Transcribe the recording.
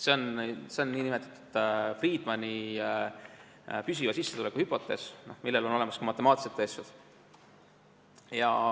See on nn Friedmani püsiva sissetuleku hüpotees, mille kohta on olemas ka matemaatilised tõestused.